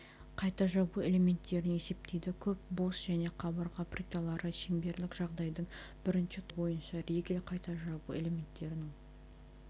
қайта жабу элементтерін есептейді көп бос және қабырға плиталары шеңберлік жағдайдың бірінші тобы бойынша ригель қайта жабу элементтерінің